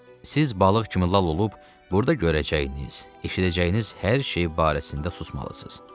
Siz balıq kimi lal olub, burda görəcəyiniz, eşidəcəyiniz hər şey barəsində susmalısınız.